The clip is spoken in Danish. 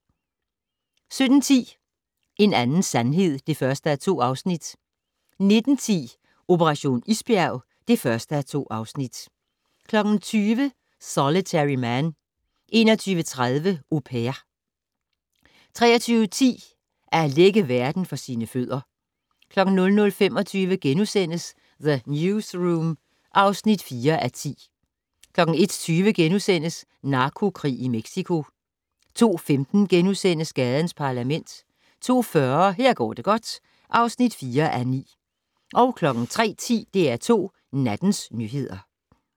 17:10: En anden sandhed (1:2) 19:10: Operation isbjerg (1:2) 20:00: Solitary Man 21:30: Au Pair 23:10: At lægge verden for sine fødder 00:25: The Newsroom (4:10)* 01:20: Narkokrig i Mexico * 02:15: Gadens Parlament * 02:40: Her går det godt (4:9) 03:10: DR2 Nattens nyheder